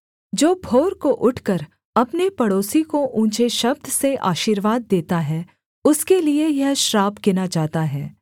जो भोर को उठकर अपने पड़ोसी को ऊँचे शब्द से आशीर्वाद देता है उसके लिये यह श्राप गिना जाता है